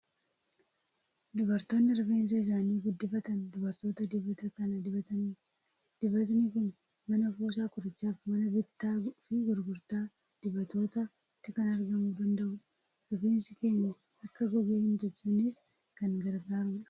Dubartoonni rifeensa isaanii guddifatan dubartoota dibata kana dibatanidha. Dibatni kun mana kuusaa qorichaa fi mana bittaa fi gurgurtaa dibatootaatti kan argamuu danda'uudha. Rifeensi keenya akka gogee hin caccabneef kan gargaaruudha.